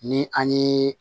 Ni an ye